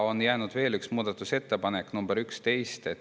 On jäänud veel üks muudatusettepanek, nr 11.